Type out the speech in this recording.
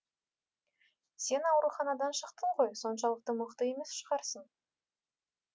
сен ауруханадан шықтың ғой соншалықты мықты емес шығарсың